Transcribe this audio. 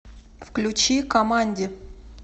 включи каманди